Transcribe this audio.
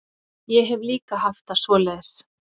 Ég hef líka haft það svoleiðis.